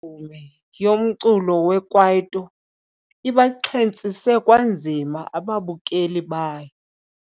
Imvumi yomculo wekwaito ibaxhentsise kwanzima ababukeli bayo.